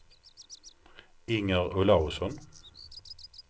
Inger Olausson